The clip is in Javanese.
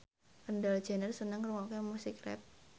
Kendall Jenner seneng ngrungokne musik rap